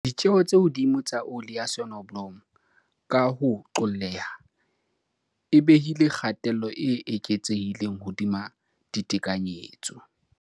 Ditjeo tse hodimo tsa oli ya sonobolomo, ka ho qolleha, e behile kgatello e eketsehileng hodima ditekanyetso.